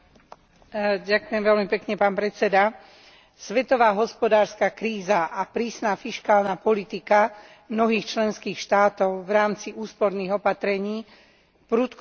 Svetová hospodárska kríza a prísna fiškálna politika mnohých členských štátov v rámci úsporných opatrení prudko znížila príjmy regionálnym a miestnym orgánom.